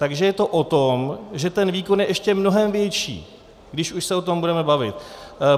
Takže je to o tom, že ten výkon je ještě mnohem větší, když už se o tom budeme bavit.